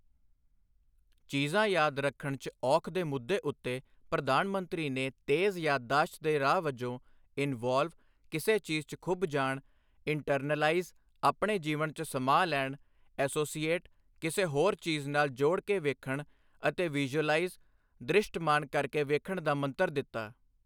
ਚੀਜ਼ਾਂ ਯਾਦ ਰੱਖਣ 'ਚ ਔਖ ਦੇ ਮੁੱਦੇ ਉੱਤੇ ਪ੍ਰਧਾਨ ਮੰਤਰੀ ਨੇ ਤੇਜ਼ ਯਾਦਦਾਸ਼ਤ ਦੇ ਰਾਹ ਵਜੋਂ ਇਨਵੌਲਵ ਕਿਸੇ ਚੀਜ਼ 'ਚ ਖੁਭ ਜਾਣ, ਇੰਟਰਨਲਾਈਜ਼ ਆਪਣੇ ਜੀਵਨ 'ਚ ਸਮਾ ਲੈਣ, ਐਸੋਸੀਏਟ ਕਿਸੇ ਹੋਰ ਚੀਜ਼ ਨਾਲ ਜੋੜ ਕੇ ਵੇਖਣ ਅਤੇ ਵਿਜ਼ੁਅਲਾਈਜ਼ ਦ੍ਰਿਸ਼ਟਮਾਨ ਕਰ ਕੇ ਵੇਖਣ ਦਾ ਮੰਤਰ ਦਿੱਤਾ।